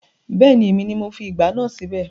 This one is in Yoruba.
Bẹ́ẹ̀ni, èmi ni mo fi ìgbá náà síbẹ̀